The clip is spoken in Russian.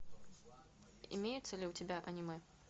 имеется ли у тебя аниме